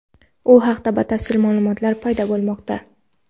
u haqida batafsil ma’lumotlar paydo bo‘lmoqda.